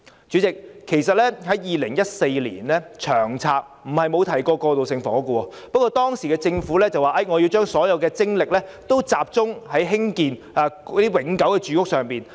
主席 ，2014 年的《長策》並非沒有提及過渡性房屋，不過當時的政府說要把所有精力集中興建永久住屋。